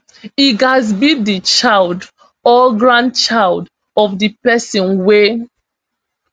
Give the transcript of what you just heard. e gatz be di child or grandchild of di pesin wey